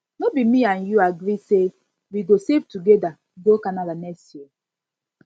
no be me and you agree say we go save together go canada next year